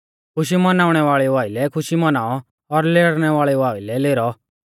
खुशी मनाउणै वाल़ेउ आइलै खुशी मनाऔ और लेरनै वाल़ेउ आइलै लेरौ